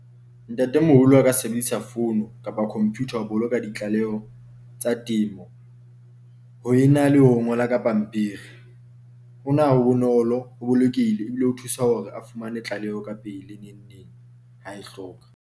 Ntatemoholo a ka sebedisa founu kapa computer ho boloka ditlaleho tsa temo ho ena le ho ngola ka pampiri. Hona ho bonolo ho bolokile ebile ho thusa hore a fumane tlaleho ka pele ha e hloka.